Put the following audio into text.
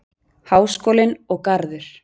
Háskólinn og Garður.